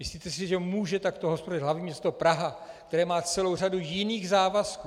Myslíte si, že může takto hospodařit hlavní město Praha, které má celou řadu jiných závazků?